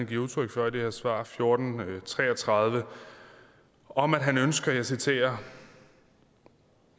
giver udtryk for i det her svar s fjorten tre og tredive om at han ønsker og jeg citerer